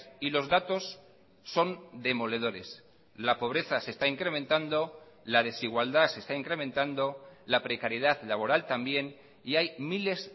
y los datos son demoledores la pobreza se está incrementando la desigualdad se está incrementando la precariedad laboral también y hay miles